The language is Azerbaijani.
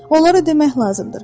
Onlara demək lazımdır.